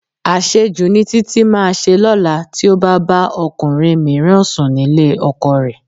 Àṣejù ni Títí máa ṣe lọ́la tí ó bá bá ọkùnrin mìíràn sùn nílé ọkọ rẹ̀